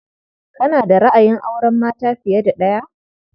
Kana da ra'ayin auren mata fiye da ɗaya?